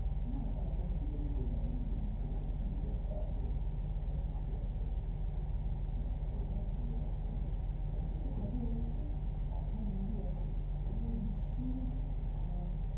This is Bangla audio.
হ্যাঁ তারপর নিজের নিজের বাড়ি নিজের নিজের life মিলিয়ে একটা আছে। সবকিছু আছে। হ্যাঁ ওটাও ভালো আছে তা কে কে থাকবে বলতো? পাঠান movie আছে তাহলে নিশ্চই আহ